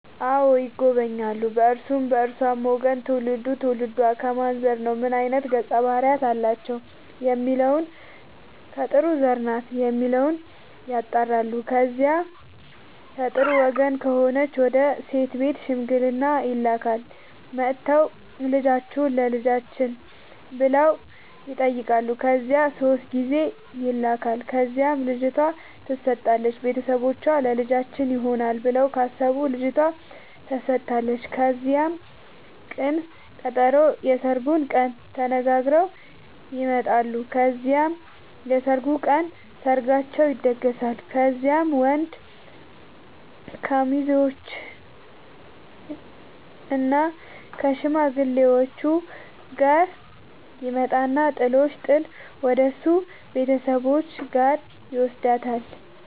አዎ ይጎበኛሉ በእርሱም በእርሷም ወገን ትውልዱ ትውልዷ ከማን ዘር ነው ምን አይነት ገፀ ባህርያት አላቸው የሚለውን ከጥሩ ዘር ናት የሚለውን ያጣራሉ። ከዚያ ከጥሩ ወገን ከሆነች ወደ ሴት ቤት ሽምግልና ይላካል። መጥተው ልጃችሁን ለልጃችን ብለው ይጠያቃሉ ከዚያ ሶስት ጊዜ ይላካል ከዚያም ልጅቷ ትሰጣለች ቤተሰቦቿ ለልጃችን ይሆናል ብለው ካሰቡ ልጇቷ ተሰጣለች ከዚያም ቅን ቀጠሮ የስርጉን ቀን ተነጋግረው ይመጣሉ ከዚያም የሰርጉ ቀን ሰርጋቸው ይደገሳል። ከዚያም ወንድ ከሙዜዎችእና ከሽማግሌዎቹ ጋር ይመጣና ጥሎሽ ጥል ወደሱ ቤተሰቦች ጋር ይውስዳታል።